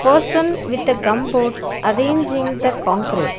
person with a gum boards arranging the concrete.